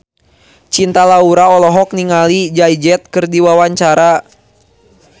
Cinta Laura olohok ningali Jay Z keur diwawancara